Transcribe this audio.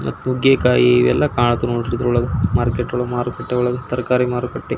ಮತ್ತು ನುಗ್ಗೆಕಾಯಿ ಇವೆಲ್ಲ ಕಾಣ್ತವೆ ನೋಡ್ರಿ ಇದ್ರೊಳಗೆ ಮಾರ್ಕೆಟ್ ಒಳಗೆ ಮಾರುಕಟ್ಟೆ ಒಳಗೆ ತರಕಾರಿ ಮಾರುಕಟ್ಟೆ.